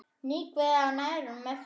Þvinguð af nærveru Mörtu.